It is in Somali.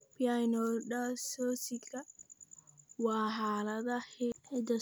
Pycnodysostosika waa xaalad hidde-socod dib-u-dhac ah.